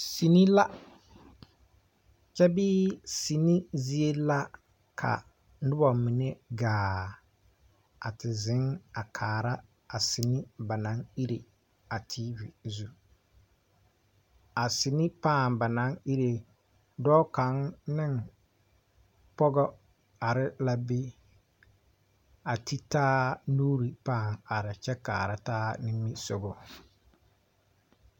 Sine la kyɛ bee sine zie la ka nobɔ mine gaa a te zèŋ a kaara a sine ba naŋ ire a teevi zu a sine pãã ba naŋ ire dɔɔ kaŋ neŋ pɔgɔ are la be a te taa nuure pãã are kyɛ kaara taa nimisugɔ.